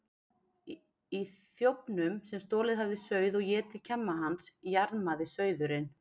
Í þjófnum, sem stolið hafði sauð og etið kjamma hans, jarmaði sauðurinn.